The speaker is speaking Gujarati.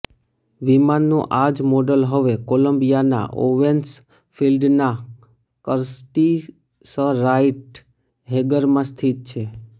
વિમાનનું આ જ મોડલ હવે કોલંબિયાના ઓવેન્સ ફિલ્ડના કર્ટિસરાઇટ હેંગરમાં સ્થિત છે